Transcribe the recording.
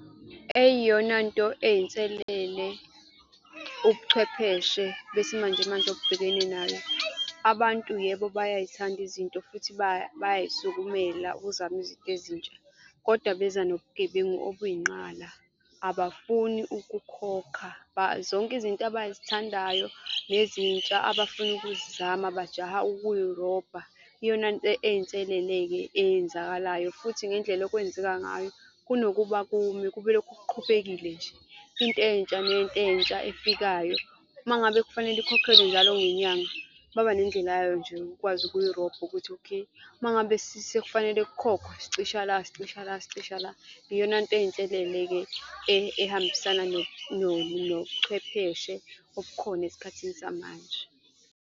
Eyiyonanto eyinselele ubuchwepheshe besimanje manje obubhekene nayo, abantu yebo bayay'thanda izinto futhi bayay'sukumela ukuzama izinto ezintsha kodwa beza nobugebengu obuyinqala. Abafuni ukukhokha zonke izinto abazithandayo nezintsha, abafuna ukuzizama bajaha ukuyirobha. Iyonanto eyinselele-ke eyenzakalayo futhi ngendlela okwenzeka ngayo kunokuba kume kube lokhu kuqhubekile nje. Into entsha nento entsha efikayo uma ngabe kufanele ikhokhelwe njalo ngenyanga, baba nendlela yayo nje ukwazi ukuyirobha ukuthi okay, uma ngabe sekufanele kukhokhwe sicisha la sicisha la sicisha la, iyonanto eyinselele-ke ehambisana nobuchwepheshe obukhona esikhathini samanje.